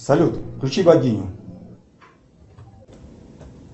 салют включи богиню